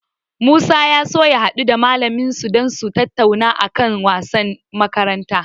Musa ya so ya haɗu da malamin mu dan su tattauna a kan wasannin makaranta.